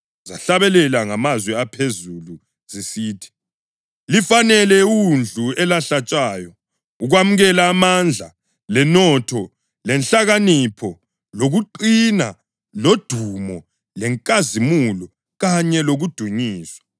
Zahlabela ngamazwi aphezulu zisithi: “Lifanele iWundlu, elahlatshwayo, ukwamukela amandla lenotho lenhlakanipho lokuqina lodumo lenkazimulo kanye lokudunyiswa!”